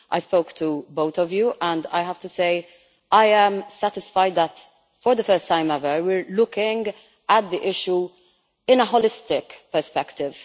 I have spoken to both of you and I have to say I am satisfied that for the first time ever we are looking at the issue with a holistic perspective.